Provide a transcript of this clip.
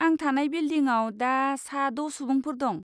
आं थानाय बिल्दिंआव दा सा द' सुबुंफोर दं।